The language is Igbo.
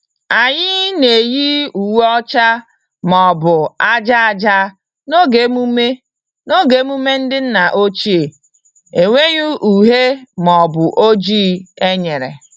Anyị na-eyi uwe ọcha ma ọ bụ aja aja n'oge emume n'oge emume ndị nna ochie - enweghị uhie ma ọ bụ oji enyere.